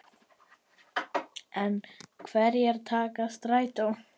En hverjir taka strætó?